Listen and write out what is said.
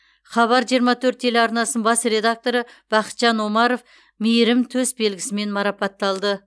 хабар жиырма төрт телеарнасының бас редакторы бақытжан омаров мейірім төсбелгісімен марапатталды